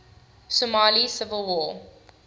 somali civil war